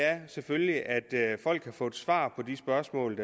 er selvfølgelig at folk har fået svar på de spørgsmål